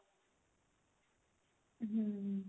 hm